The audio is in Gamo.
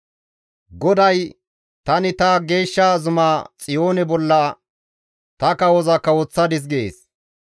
Goday, «Tani ta geeshsha zuma Xiyoone bolla ta kawoza kawoththadis» gees.